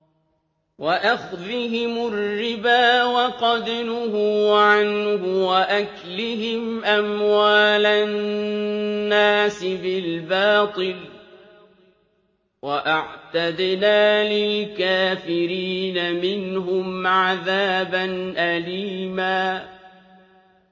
وَأَخْذِهِمُ الرِّبَا وَقَدْ نُهُوا عَنْهُ وَأَكْلِهِمْ أَمْوَالَ النَّاسِ بِالْبَاطِلِ ۚ وَأَعْتَدْنَا لِلْكَافِرِينَ مِنْهُمْ عَذَابًا أَلِيمًا